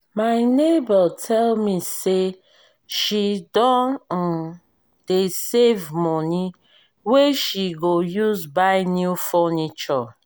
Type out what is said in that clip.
my nebor tell me say she don um dey save money wey she go use buy new furniture